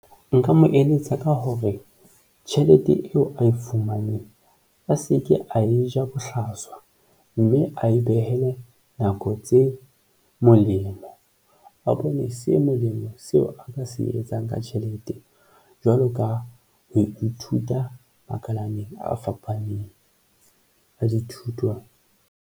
Nka mo eletsa ka hore tjhelete eo ae fumaneng a se ke a e ja bohlaswa, mme a e behele nako tse molemo a bone, se molemo seo a ka se etsang ka tjhelete. Jwalo ka ho ithuta makalane a fapaneng a dithuto.